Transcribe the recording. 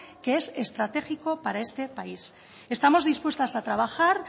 que es estratégico para este país estamos dispuestas a trabajar